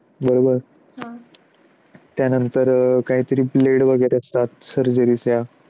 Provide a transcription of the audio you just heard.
बरोबर. हा त्यानंतर काहीतरी bled वगैरे असतात. surgery च्या